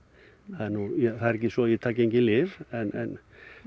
það er það er ekki svo að ég taki engin lyf en